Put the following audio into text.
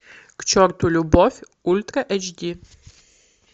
к черту любовь ультра эйч ди